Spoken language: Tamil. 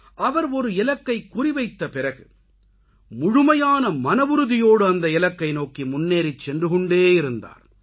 அவர் ஒரு இலக்கைக் குறி வைத்த பிறகு முழுமையான மனவுறுதியோடு அந்த இலக்கை நோக்கி முன்னேறிச் சென்றுகொண்டேயிருந்தார்